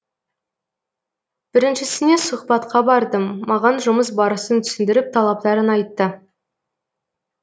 біріншісіне сұхбатқа бардым маған жұмыс барысын түсіндіріп талаптарын айтты